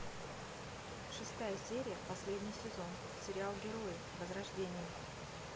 шестая серия последний сезон сериал герои возрождение